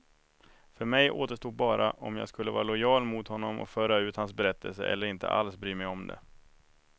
För mig återstod bara om jag skulle vara lojal mot honom och föra ut hans berättelse, eller inte alls bry mig om det.